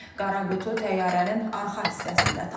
Qara qutu təyyarənin arxa hissəsində tapılıb.